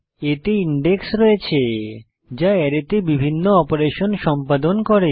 এতে ইনডেক্স রয়েছে যা অ্যারেতে বিভিন্ন অপারেশন সম্পাদন করে